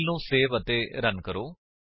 file ਨੂੰ save ਅਤੇ run ਕਰੋ